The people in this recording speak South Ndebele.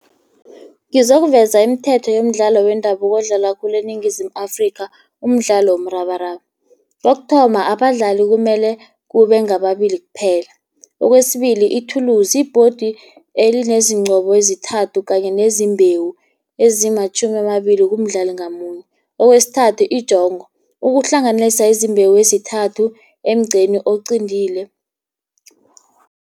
Ngizokuveza imithetho yomdlalo wendabuko odlalwa khulu eNingizimu Afrika umdlalo womrabaraba. Kokuthoma abadlali kumele kube ngababili kuphela. Okwesibili ithulisi, i-board elinezingcobo ezithathu kanye nezimbewu ezimatjhumi amabili kumdlali ngamunye. Okwesithathu injongo, ukuhlanganisa emzimbeni wezithathu emgqeni oqintile.